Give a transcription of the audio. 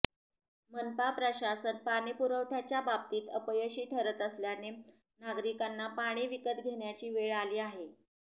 मनपा प्रशासन पाणीपुरवठ्याच्या बाबतीत अपयशी ठरत असल्याने नागरिकांना पाणी विकत घेण्याची वेळ आली आहे